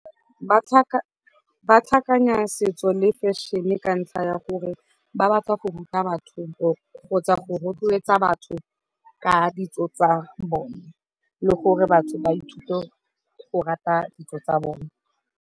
Ba tlhakanya setso le fashion-e ka ntlha ya gore ba batla go ruta batho kgotsa go rotloetsa batho ka ditso tsa bone le gore batho ba ithute go rata ditso tsa bone.